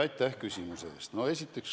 Aitäh küsimuse eest!